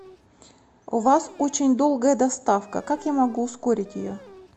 у вас очень долгая доставка как я могу ускорить ее